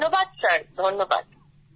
ধন্যবাদ স্যার ধন্যবাদ